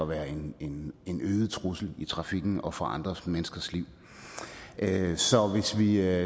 være en en øget trussel i trafikken og for andre menneskers liv så hvis vi